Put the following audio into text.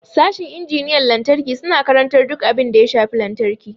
Sashin injiniyan lantarki suna karantar duk abin da ya shafi lantarki.